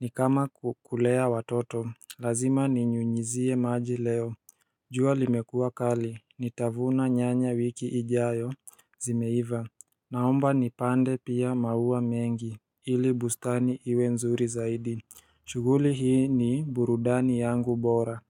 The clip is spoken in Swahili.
Nikama kulea watoto, lazima ninyunyizie maji leo jua limekua kali, nitavuna nyanya wiki ijayo, zimeiva Naomba nipande pia maua mengi, ili bustani iwe nzuri zaidi. Shughuli hii ni burudani yangu bora.